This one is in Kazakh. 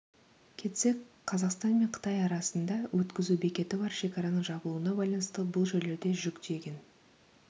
кетсек қазақстан мен қытай арасында өткізу бекеті бар шекараның жабылуына байланысты бұл жерлерде жүк тиеген